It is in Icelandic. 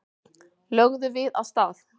Lögðum við af stað.